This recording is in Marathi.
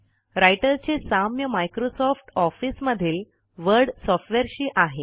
रायटरचे साम्य मायक्रोसॉफ्ट ऑफिस मधील वर्ड सॉफ्टवेअरशी आहे